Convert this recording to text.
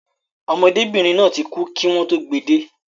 Ọmọdébìnrin náà ti kú kí wọn tó gbe dé